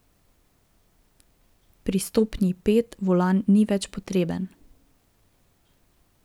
Pri stopnji pet volan ni več potreben.